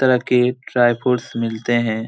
तरह के dry fruits मिलते है।